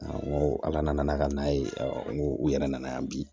ala nana n'a ka na ye n ko u yɛrɛ nana yan bi